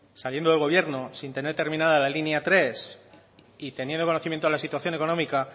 saliendo del gobierno sin tener terminada la línea tres y teniendo conocimiento de la situación económica